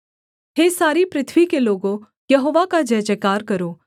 हे सारी पृथ्वी के लोगों यहोवा का जयजयकार करो